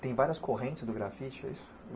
Tem várias correntes no grafite, é isso?